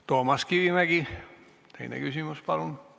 Toomas Kivimägi, teine küsimus, palun!